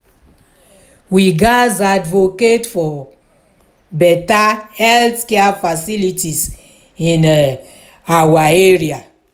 we gatz advocate for better healthcare facilities in um our area.